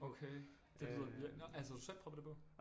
Okay det lyder virkelig nå altså har du selv proppet det på